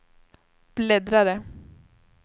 bläddrare